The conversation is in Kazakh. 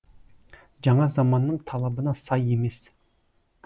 жаңа заманның талабына сай емес